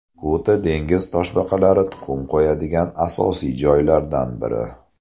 Kuta dengiz toshbaqalari tuxum qo‘yadigan asosiy joylardan biri.